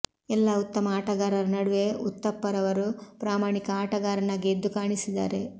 ಎಲ್ಲಾ ಉತ್ತಮ ಆಟಗಾರರ ನಡುವೆ ಉತ್ತಪ್ಪರವರು ಪ್ರಾಮಾಣಿಕ ಆಟಗಾರನಾಗಿ ಎದ್ದು ಕಾಣಿಸಿದ್ದಾರೆ